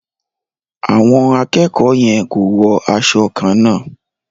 Àwọn akẹ́kọ̀ọ́ yẹn ko wo aṣọ kànna.